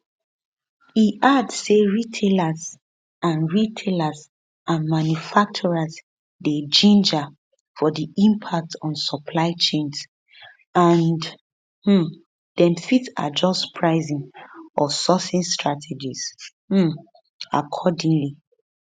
e add say retailers and retailers and manufacturers dey ginger for di impacts on supply chains and um dem fit adjust pricing or sourcing strategies um accordingly